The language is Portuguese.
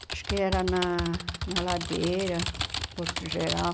Acho que era na a Ladeira, Porto Geral.